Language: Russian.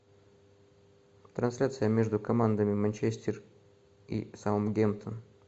трансляция между командами манчестер и саутгемптон